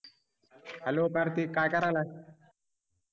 HELLO Kartik काय करायलाय